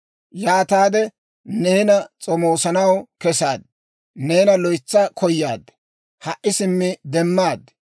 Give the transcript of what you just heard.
Yaataade neena s'omoosanaw kesaad; neena loytsa koyaad; ha"i simmi demmaad.